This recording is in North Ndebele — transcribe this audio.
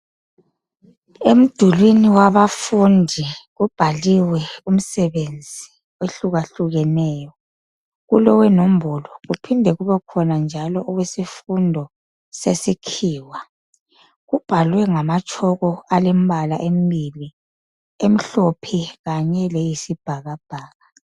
Emdulwini wabafundi kubhaliwe umsebenzi ohluka hlukeneyo kulowenombolo kuphinde kubekhona njalo owesifundo sesikhiwa kubhalwe ngama chalk alembala embili emhlophe kanye leyisibhakabhaka.